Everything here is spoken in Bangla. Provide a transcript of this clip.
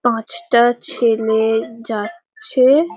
পাঁচটা ছেলে যাচ্ছে-এ --